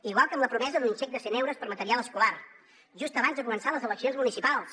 igual que amb la promesa d’un xec de cent euros per a material escolar just abans de començar les eleccions municipals